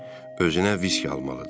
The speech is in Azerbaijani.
Özünə viski almalıdır.